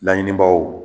Laɲinibaw